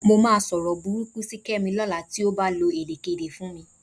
Mo máa sọ̀rọ̀ burúkú sí Kẹ́mi lọ́la tí ó bá lo èdèkéde fún mi